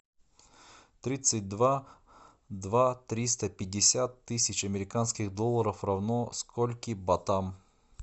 тридцать два два триста пятьдесят тысяч американских долларов равно скольким батам